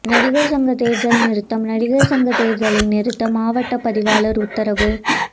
நடிகர் சங்க தேர்தல் நிறுத்தம் நடிகர் சங்க தேர்தலை நிறுத்த மாவட்ட பதிவாளர் உத்தரவு